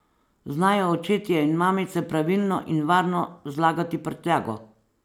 Znajo očetje in mamice pravilno in varno zlagati prtljago?